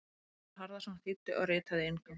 Gunnar Harðarson þýddi og ritaði inngang.